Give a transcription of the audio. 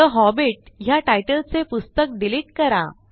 ठे Hobbit ह्या titleचे पुस्तक डिलिट करा